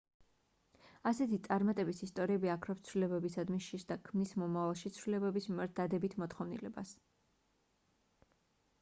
ასეთი წარმატების ისტორიები აქრობს ცვლილებებისადმი შიშს და ქმნის მომავალში ცვლილებების მიმართ დადებით მოთხოვნილებას